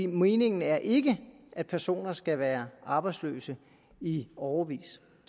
meningen er ikke at personer skal være arbejdsløse i årevis